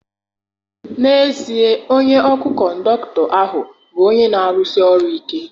N'ezie, onye ọkụ kọndọkụtọ ahụ bụ onye na-arụsi ọrụ ike.